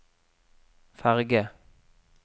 ferge